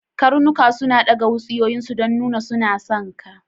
Karnuka suna daga wutsiyoyin su don nuna suna son ka.